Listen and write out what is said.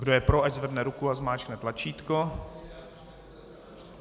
Kdo je pro, ať zvedne ruku a zmáčkne tlačítko.